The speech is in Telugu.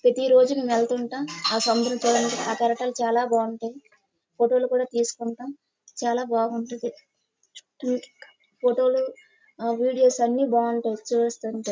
ప్రతిరోజు వెళ్తూ ఉంటామ్. సముద్రం చూడడానికి ఆ కెరటాలు చాలా బాగుంటాయయ్. ఫోటో లు కూడా తీసుకుంటాం చాలా బాగుంటది చుట్టూ ఫోటో లు వీడియో లు అన్ని బాగుంటాయ్ చూస్తుంటే.